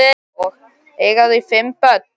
Eiga þau fimm börn.